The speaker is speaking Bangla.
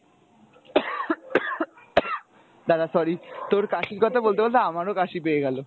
দাড়া sorry তোর কাশির কথা বলতে বলতে আমারও কাশি পেয়ে গেলো